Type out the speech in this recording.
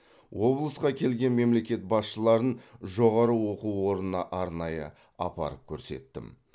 облысқа келген мемлекет басшыларын жоғары оқу орнына арнайы апарып көрсеттім